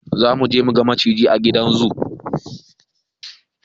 Zamuje muga maciji a gidan zu